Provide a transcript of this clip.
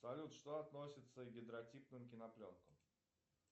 салют что относится к гидротипным кинопленкам